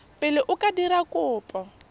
pele o ka dira kopo